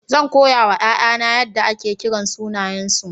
Zan koya wa 'ya'yana yadda ake kiran sunayensu.